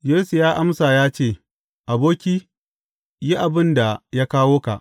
Yesu ya amsa ya ce, Aboki, yi abin da ya kawo ka.